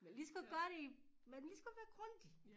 Vi kan lige så godt gøre det i man ligeså godt være grundig